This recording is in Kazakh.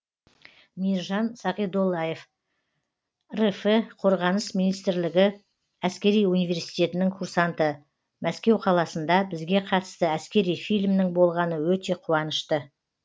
мейіржан сағидоллаев рф қорғаныс министрлігі әскери университетінің курсанты мәскеу қаласында бізге қатысты әскери фильмнің болғаны өте қуанышты